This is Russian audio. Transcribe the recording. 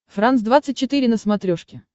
франс двадцать четыре на смотрешке